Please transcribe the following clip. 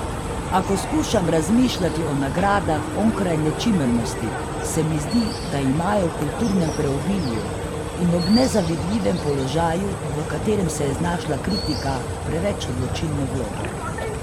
A ko skušam razmišljati o nagradah onkraj nečimrnosti, se mi zdi, da imajo v kulturnem preobilju in ob nezavidljivem položaju, v katerem se je znašla kritika, preveč odločilno vlogo.